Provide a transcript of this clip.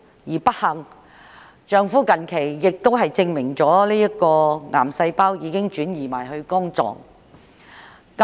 更不幸的是，近期亦證實其丈夫體內的癌細胞已擴散至肝臟。